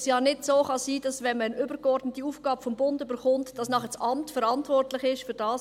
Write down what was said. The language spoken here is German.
es kann nicht sein, dass das Amt verantwortlich ist, dies zu regeln, wenn eine übergeordnete Aufgabe vom Bund übertragen wird.